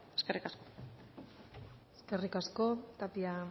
eskerrik asko eskerrik asko tapia